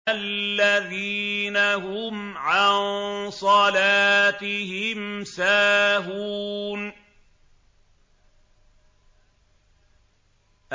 الَّذِينَ هُمْ عَن صَلَاتِهِمْ سَاهُونَ